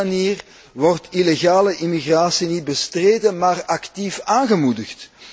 Op die manier wordt illegale immigratie niet bestreden, maar actief aangemoedigd.